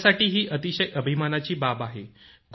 माझ्यासाठी ही अतिशय अभिमानाची बाब आहे